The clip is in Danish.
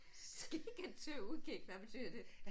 Skikket til udkig hvad betyder det?